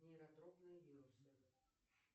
нейротропные вирусы